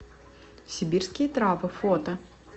сибирские травы фото